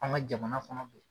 An ka jamana kɔnɔ bi